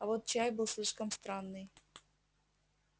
а вот чай был слишком странный